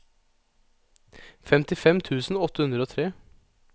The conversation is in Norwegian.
femtifem tusen åtte hundre og tre